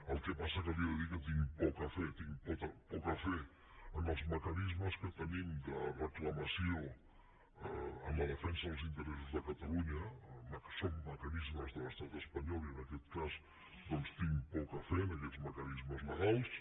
el que passa és que li he de dir que tinc poca fe en els mecanismes que tenim de reclamació en la defensa dels interessos de catalunya que són mecanismes de l’estat espanyol i en aquest cas tinc poca fe en aquests mecanismes legals